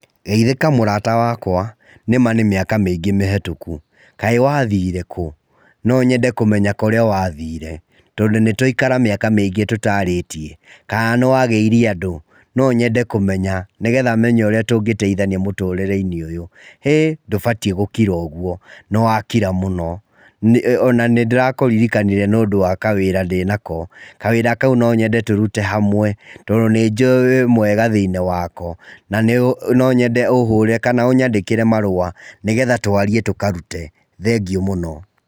Geithĩka mũrata wakwa. Nĩ ma nĩ mĩaka mĩingĩ mĩhĩtũku. Kaĩ wathire kũ? No nyende kũmenya kũrĩa wathire, tondũ nĩ twaikara mĩaka mĩingĩ tũtaarĩtie. Kaa nĩ wagĩire andũ? No nyende kũmenya nĩgetha menye ũrĩa tũngĩteithania mutũrĩre-inĩ ũyũ. Hĩ! Ndũbatiĩ gũkira ũguo. Nĩ wakira mũno. Ona nĩ ndĩrakũririkanire nĩũndũ wa kawĩra ndĩnako. Kawĩra kau no nyende tũrute hamwe, tondũ nĩ njũĩ wĩ mwega thĩinĩ wako, na no nyende ũhũrĩre kana ũnyandĩkĩre marũa, nĩgetha tũarie, tũkarute. Thengiũ mũno.